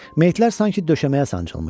Meyitlər sanki döşəməyə sancılmışdı.